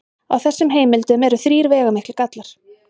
Á þessum heimildum eru þrír veigamiklir gallar.